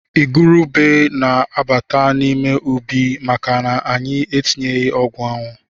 Igurube na-abata n’ime ubi maka anyị entinyeghi ọgwụanwụ